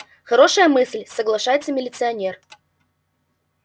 хорошая мысль соглашается милиционер